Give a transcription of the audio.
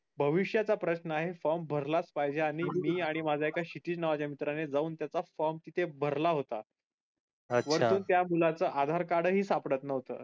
भविष्याचा प्रशन आहे form भरलाच पाहिजे आणि मी अन माझ्या एका क्षितीज नावाच्या मित्राने जाऊन त्याचा form तिथे भरला होता वरतून त्या मुलाचं आधार card ही सापडत नव्हतं.